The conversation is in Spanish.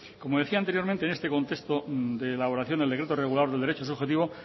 como decía anteriormente en este contexto de elaboración del decreto regulador del derecho subjetivo